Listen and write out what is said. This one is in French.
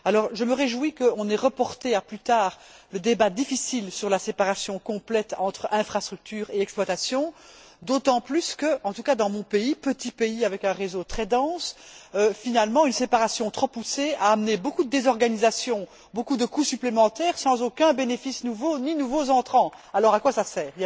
Je me réjouis qu'on ait reporté à plus tard le débat difficile sur la séparation complète entre infrastructure et exploitation, d'autant plus que en tout cas dans mon pays, petit pays avec un réseau très dense finalement, une séparation trop poussée a amené beaucoup de désorganisation, beaucoup de coûts supplémentaires, sans aucun bénéfice nouveau, ni nouveaux entrants. Alors, à quoi ça sert?